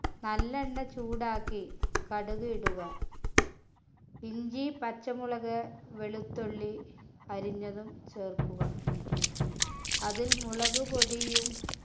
നല്ലെണ്ണ ചൂടാക്കി കടുക് ഇടുക ഇഞ്ചി പച്ചമുളക് വെളുത്തുള്ളി അരിഞ്ഞതും ചേർക്കുക അതിൽ മുളക്പൊടിയും